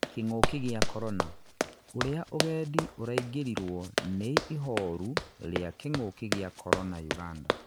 kĩng'ũki gĩa Korona: ũria ũgendi ũraingirirwo nĩ ihorũ ria kĩng'ũki gia Korona Uganda